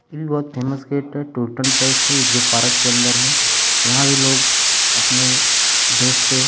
बहुत famous gate है ये जो पार्क के अंदर है। यहां भी लोग अपने देश से --